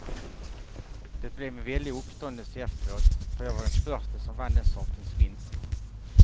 Det blev en väldig uppståndelse efteråt, för jag var den första som vann den sortens vinst.